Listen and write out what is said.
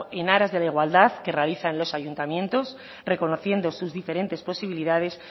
en aras de la igualdad que realizan los ayuntamientos reconociendo sus diferentes posibilidades